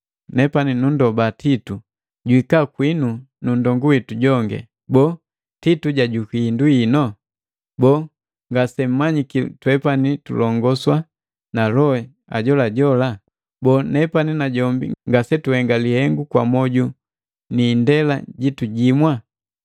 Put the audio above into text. Nepani nundoba Titu, juhika kwinu nu nndongu witu jongi. Boo, Titu jajukwi hindu hino? Boo, ngasemmanyiki twepani tulongoswa na loho ajolajo? Boo nepani na jombi ngasetuhenga lihengu kwa mwoju ni indela jitu jimwa?